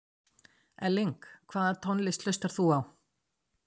Elling Hvaða tónlist hlustar þú á?